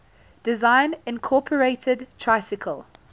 design incorporated tricycle